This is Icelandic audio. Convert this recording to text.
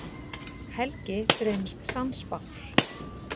Helgi reynist sannspár.